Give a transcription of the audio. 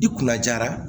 I kunna jara